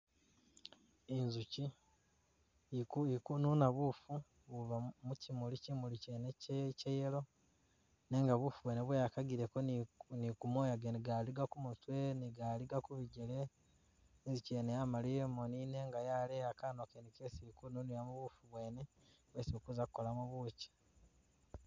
Inzukyi iku ikununa bufu buba mu mukyimuli, kyimuli kyene kye kye'yellow, nenga bufu bwene bweyakagileko ni ku ni kumoya gene galiga kumutwe ni galiga kubigyele, inzukyi yene yamaliya emoni nenga yaleya kanwa kene kesi ikununilamo bufu bwene bwesi bakuza'kolamo bukyi